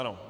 Ano.